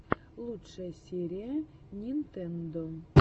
лучшая серия нинтендо